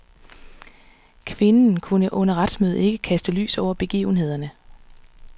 Kvinden kunne under retsmødet ikke kaste lys over begivenhederne.